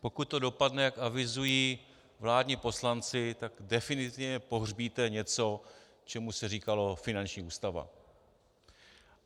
Pokud to dopadne, jak avizují vládní poslanci, tak definitivně pohřbíte něco, čemu se říkalo finanční ústava.